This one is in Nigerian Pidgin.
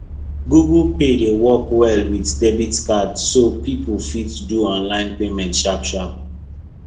google pay dey work well with debit card so people fit do online payment sharp sharp